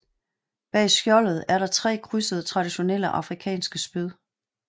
Bag skjoldet er der tre krydsede traditionelle afrikanske spyd